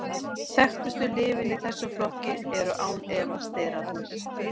þekktustu lyfin í þessum flokki eru án efa sterarnir